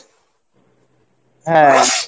হ্যাঁ